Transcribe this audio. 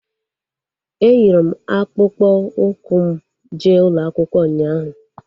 Eyiri m akpụkpọ ụkwụ m jee ụlọakwụkwọ ụnyaahụ